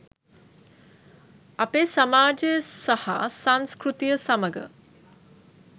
අපේ සමාජය සහ සංස්කෘතිය සමඟ